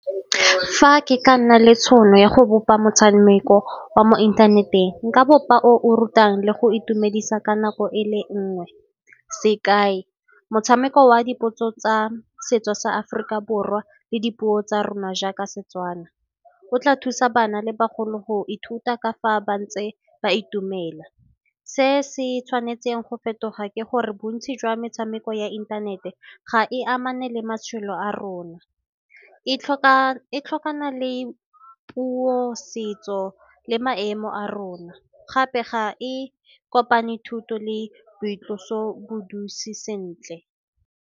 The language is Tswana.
Fa ke ka nna le tšhono ya go bopa motshameko wa mo inthaneteng, nka bopa o o rutang le go itumedisa ka nako e le nngwe, sekai, motshameko wa dipotso tsa setso sa Aforika Borwa le dipuo tsa rona jaaka Setswana. Go tla thusa bana le bagolo go ithuta ka fa ba ntse ba itumela. Se se tshwanetseng go fetoga ke gore bontsi jwa metshameko ya inthanete ga e amane le matshelo a rona, e tlhokana le puo, setso le maemo a rona, gape ga e kopane thuto le boitloso sentle.